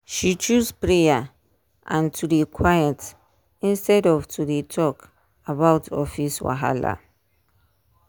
she choose prayer and to dey quiet instead of to dey talk about office wahala.